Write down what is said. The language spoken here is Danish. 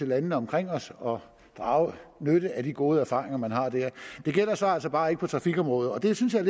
landene omkring os og drage nytte af de gode erfaringer man har der det gælder så altså bare ikke på trafikområdet og det synes jeg